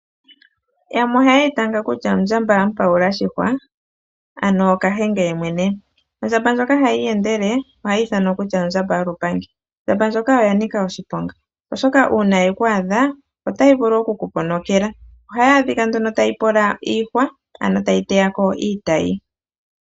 Yamwe ohaye yi tanga kutya, ondjamba mupayula oshihwa, ano kahenge yeemwene. Ondjamba ndjoka hayi iyendele ohayi ithanwa kutya ondjamba yolupangi. Ondjamba ndjoka oya nika oshiponga. Oshoka uuna ye ku adha otayi vulu okukuponokela. Ohayi adhika nduno tayi pola iihwa, ano tayi teya ko iitayi.